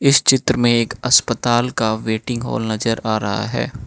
इस चित्र में एक अस्पताल का वेटिंग हॉल नजर आ रहा है।